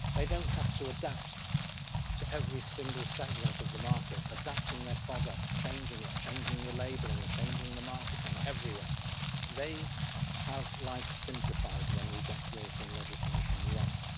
They don't have to adapt to every single segment of the market, adapting their product, changing it, changing the labelling, changing the marketing everywhere. They have life simplified when we get European legislation right.